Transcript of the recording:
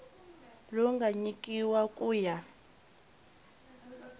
lowu nga nyikiwa ku ya